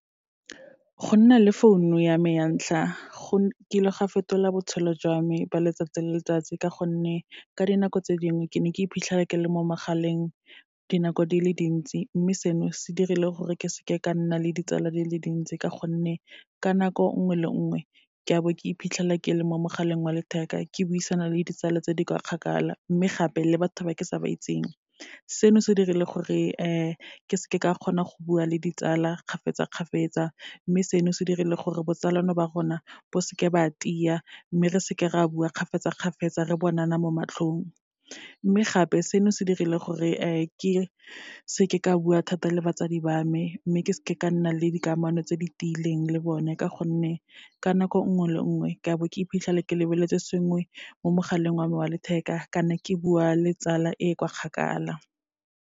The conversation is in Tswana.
Go nna le founu ya me ya ntlha, go nkile ga fetola botshelo jwa me ba letsatsi le letsatsi, ka gonne ka dinako tse dingwe ke ne ka iphitlhela ke le mo magaleng dinako di le dintsi. Mme seno, se dirile gore ke seke ka nna le ditsala di le dintsi, ka gonne ka nako nngwe le nngwe ke a bo ke iphitlhela ke le mo mogaleng wa letheka, ke buisana le ditsala tse di kwa kgakala, mme gape, le batho ba ke sa ba itseng. Seno se dirile gore ke seke ka kgona go bua le ditsala kgafetsa-kgafetsa, mme seno se dirile gore botsalano ba rona bo seke ba tia, mme re seke ra bua kgafetsa-kgafetsa, re bonana mo matlhong. Mme gape, seno se dirile gore ke seke ka bua thata le batsadi ba me, mme ke seke ka nna le dikamano tse di tiileng le bone, ka gonne ka nako nngwe le nngwe ka bo ke iphitlhela ke lebeletse sengwe mo mogaleng wa me wa letheka, kana ke bua le tsala e kwa kgakala.